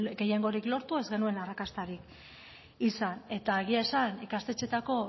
gehiengorik lortu ez genuen arrakastarik izan eta egia esan ikastetxeetako